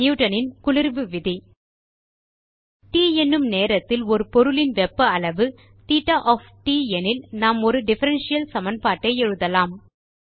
Newton இன் குளிர்வு விதி ட் என்னும் நேரத்தில் ஒரு பொருளின் வெப்ப அளவு தேட்ட ஒஃப் ட் எனில் நாம் ஒரு டிஃபரன்ஷியல் சமன்பாட்டை எழுதலாம்